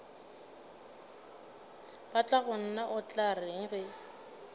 batlagonna o tla reng ge